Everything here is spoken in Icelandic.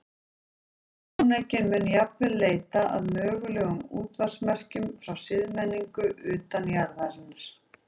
Sjónaukinn mun jafnvel leita að mögulegum útvarpsmerkjum frá siðmenningu utan jarðarinnar.